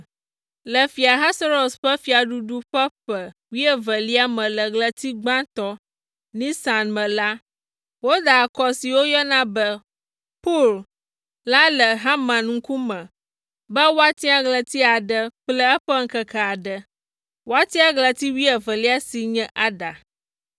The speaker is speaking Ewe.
Le Fia Ahasuerus ƒe fiaɖuɖu ƒe ƒe wuievelia me le ɣleti gbãtɔ, Nisan me la, woda akɔ si woyɔna be, pur la le Haman ŋkume be woatia ɣleti aɖe kple eƒe ŋkeke aɖe. Wotia ɣleti wuievelia si nye Adar.